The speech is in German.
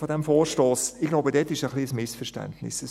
Ich glaube, dort ist es ein bisschen ein Missverständnis;